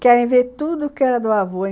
Querem ver tudo o que era do avô.